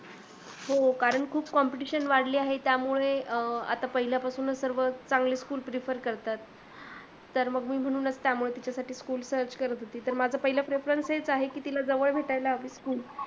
हो कारण खूप competition वाढली आहे त्यामुळे आता पहिल्यापासून सर्व चांगले school prefer करतात, तर मग मी म्हणूनच त्यामुळे तिच्यासाठी school search करत होती तर माझं पहिल preference हेच आहे की तिला जवळ भेटायला हवी school